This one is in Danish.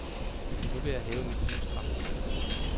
Nu vil jeg have mit livs dragt.